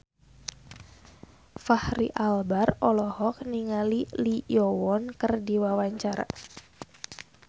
Fachri Albar olohok ningali Lee Yo Won keur diwawancara